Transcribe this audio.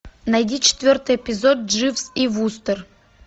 найди четвертый эпизод дживс и вустер